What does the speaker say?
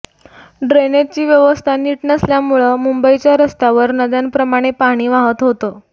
ड्रेनेजची व्यवस्था नीट नसल्यामुळं मुंबईच्या रस्त्यांवर नद्यांप्रमाणे पाणी वाहत होतं